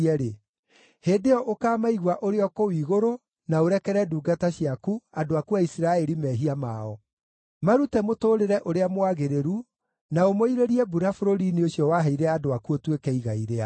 hĩndĩ ĩyo ũkaamaigua ũrĩ o kũu igũrũ na ũrekere ndungata ciaku, andũ aku a Isiraeli, mehia mao. Marute mũtũũrĩre ũrĩa mwagĩrĩru, na ũmoirĩrie mbura bũrũri-inĩ ũcio waheire andũ aku ũtuĩke igai rĩao.